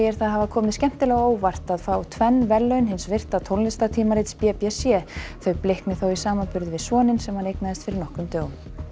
það hafa komið skemmtilega á óvart að fá tvenn verðlaun hins virta b b c þau blikni þó í samanburði við soninn sem hann eignaðist fyrir nokkrum dögum